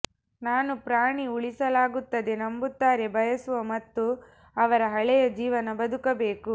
ನಾನು ಪ್ರಾಣಿ ಉಳಿಸಲಾಗುತ್ತದೆ ನಂಬುತ್ತಾರೆ ಬಯಸುವ ಮತ್ತು ಅವರ ಹಳೆಯ ಜೀವನ ಬದುಕಬೇಕು